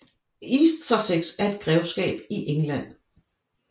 East Sussex er et grevskab i England